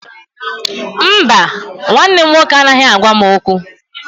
Mba, nwanne m nwoke anaghị agwa m okwu